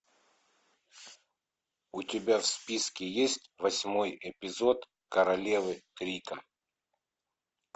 у тебя в списке есть восьмой эпизод королевы крика